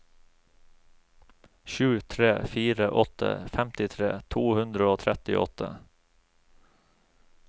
sju tre fire åtte femtitre to hundre og trettiåtte